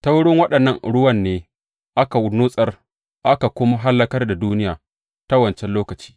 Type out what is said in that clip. Ta wurin waɗannan ruwan ne aka nutsar, aka kuma hallakar da duniya ta wancan lokaci.